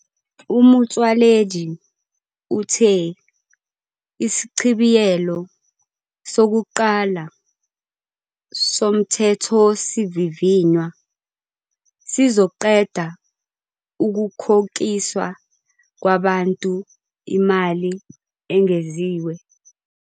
UMotsoaledi uthe isichibiyelo sokuqala soMthethosivivinywa sizoqeda ukukhokiswa kwabantu imali engeziwe.